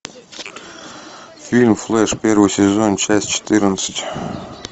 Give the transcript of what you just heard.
фильм флэш первый сезон часть четырнадцать